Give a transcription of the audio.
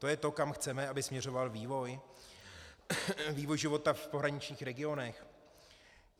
To je to, kam chceme, aby směřoval vývoj života v pohraničních regionech?